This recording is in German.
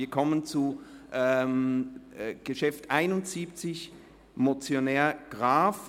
Wir kommen zum Traktandum 71, der Motion Graf.